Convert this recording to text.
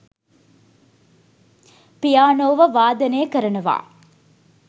පියානෝව වාදනය කරනවා